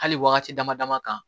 Hali wagati dama dama kan